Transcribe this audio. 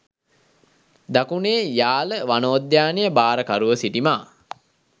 දකුණේ යාල වනෝද්‍යානය භාරකරුව සිටි මා